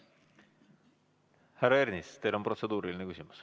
Härra Ernits, teil on protseduuriline küsimus.